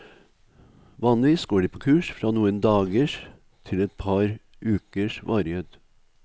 Vanligvis går de på kurs fra noen dagers til et par ukers varighet.